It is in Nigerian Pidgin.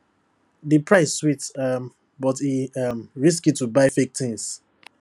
di price sweet um but e um risky to buy fake things